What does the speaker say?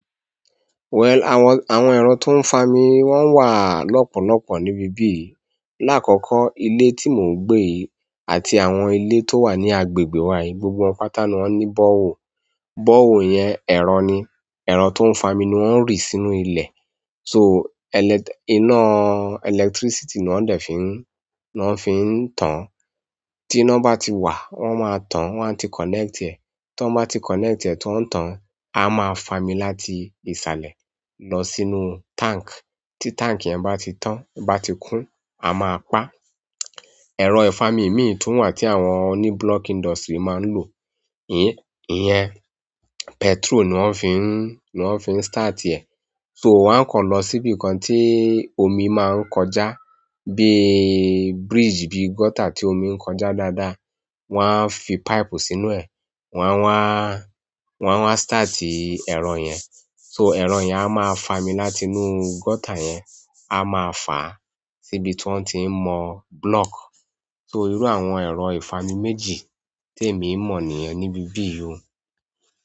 Well, àwọn, àwọn ẹ̀rọ tó ń fami wọ́n wà lọ́pọ̀lọpọ̀ níbí bí yìí. Láàkọ́kọ́, ilé tí mò ń gbé àti àwọn ilé tó wà ní agbègbè wa yìí, gbogbo wọn pata ni wọ́n ní bọ́ọ̀wọ̀. Bọ́ọ̀wọ̀ yẹn ẹ̀rọ ni. Ẹ̀rọ tó ń fami ni wọ́n ń rí sínú ilẹ̀. So, elek- iná electricity ni wọn dẹ̀ fi ń, ni wọn fi ń tan. Tí iná bá ti wà, wọ́n máa tan, wọ́n a ti connect ẹ̀. Tí wọ́n bá ti connect ẹ̀ tí wọ́n ń tan, a máa fami láti ìsàlẹ̀ lọ sínú tank. Tí tank yẹn bá ti tán, bá ti kún, a máa pa. Ẹ̀rọ ìfami mí ì tun wà tí àwọn oní block industry máa ń lò, ìyẹn, petrol ni wọ́n fi ń, ni wọ́n fi ń start ẹ̀. So, wọ́n á kọ̀ lọ síbi kan tí omi má ń kọjá, bí bridge, bí gutter tí omi ń kọjá dáadáa, wọ́n a fi pipe sínú ẹ̀, wọ́n a wá, wọ́n a wá start ẹ̀rọ yẹn. So, ẹ̀rọ yẹn a máa fami láti inú gutter yẹn, a máa fà á síbi tí wọ́n ti mọ block. So, irú àwọn ẹ̀rọ ìfami méjì tí èmi mọ̀ ni ẹ́ níbí bí yìí.